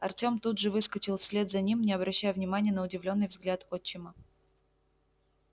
артём тут же выскочил вслед за ним не обращая внимания на удивлённый взгляд отчима